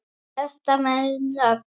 Þetta með nöfn